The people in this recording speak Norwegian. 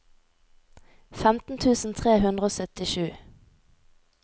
femten tusen tre hundre og syttisju